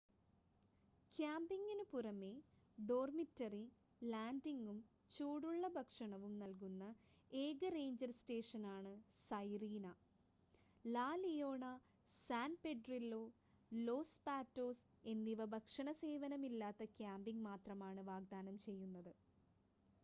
ക്യാമ്പിംഗിനു പുറമേ ഡോർമിറ്ററി ലാൻഡിംഗും ചൂടുള്ള ഭക്ഷണവും നൽകുന്ന ഏക റേഞ്ചർ സ്റ്റേഷനാണ് Sirena La Leona San Pedrillo Los Patos എന്നിവ ഭക്ഷണ സേവനമില്ലാത്ത ക്യാമ്പിംഗ് മാത്രമാണ് വാഗ്ദാനം ചെയ്യുന്നത്